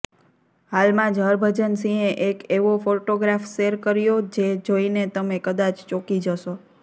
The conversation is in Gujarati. હાલમાં જ હરભજન સિંહે એક એવો ફોટોગ્રાફ શેર કર્યો જે જોઈને તમે કદાચ ચોંકી જશો